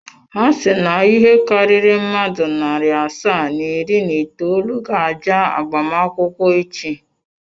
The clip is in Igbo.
Ha si na ịhe karịrị mmadụ narị asaa na iri na itoolu ga-abịa agbamakwụkwọ echi.